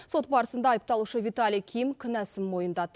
сот барысында айыпталушы виталий ким кінәсін мойындады